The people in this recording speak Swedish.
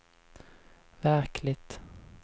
verkligt